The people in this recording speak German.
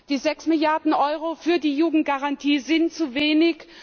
Die 6 Milliarden Euro für die Jugendgarantie sind zu wenig.